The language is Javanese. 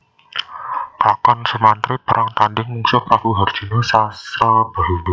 Klakon Sumantri perang tandhing mungsuh Prabu harjuna Sasrabahu